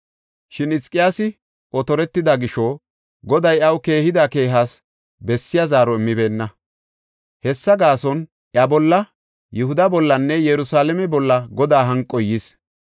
Shin Hizqiyaasi otortida gisho Goday iyaw keehida keehas bessiya zaaro immibeenna. Hessa gaason, iya bolla, Yihuda bollanne Yerusalaame bolla Godaa hanqoy yis.